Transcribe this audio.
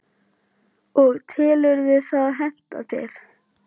og telurðu það henta þér?